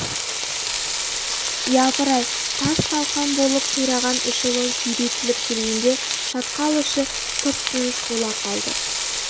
япырай тас-талқан болып қираған эшелон сүйретіліп келгенде шатқал іші тып-тыныш бола қалды